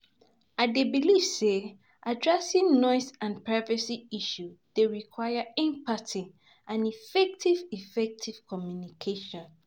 I dey believe say addressing noise and privacy issues dey require empathy and effective effective communication.